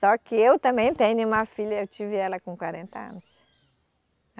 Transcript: Só que eu também tenho uma filha, eu tive ela com quarenta anos.